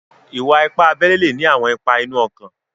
Ìwà-ìpà àbèlè le ní àwọn ìpà inú ọ̀kàn.